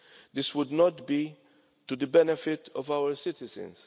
This would not be to the benefit of our citizens.